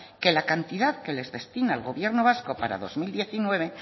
que la cantidad que les destina el gobierno vasco para el dos mil diecinueve